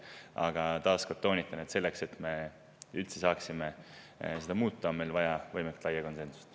Aga taas kord toonitan, et selleks, et me üldse saaksime seda muuta, on meil vaja võimalikult laia konsensust.